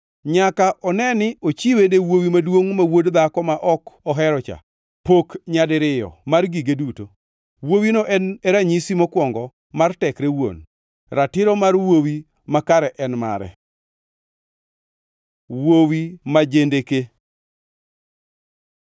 Nyaka one ni ochiwone wuowi maduongʼ ma wuod dhako ma ok oherocha pok nyadiriyo mar gige duto. Wuowino en e ranyisi mokwongo mar tekre wuon. Ratiro mar wuowi makayo en mare. Wuowi ma jendeke